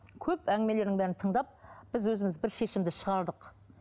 көп әңгімелерінің бәрін тыңдап біз өзіміз бір шешімді шығардық